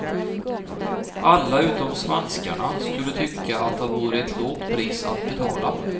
Alla utom svenskarna skulle tycka att det vore ett lågt pris att betala.